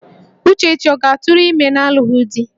Uchechi ọ ga-atụrụ ime n'alụghị di?